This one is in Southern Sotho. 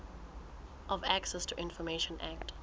of access to information act